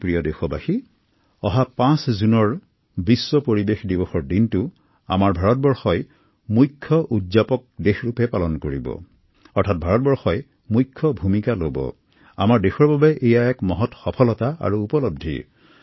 মোৰ মৰমৰ দেশবাসী অহা ৫ জুনত আমাৰ দেশ ভাৰতবৰ্ষই আন্তঃৰাষ্ট্ৰীয়ভাৱে বিশ্ব পৰিৱেশ দিৱস আয়োজন কৰিব